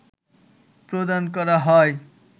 প্রদান করা হয়